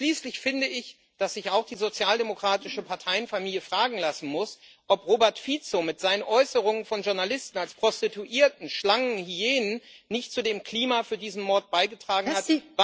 Schließlich finde ich, dass sich auch die sozialdemokratische Parteienfamilie fragen lassen muss, ob Robert Fico mit seinen Äußerungen über Journalisten als Prostituierten, Schlangen und Hyänen nicht zu dem Klima für diesen Mord beigetragen hat.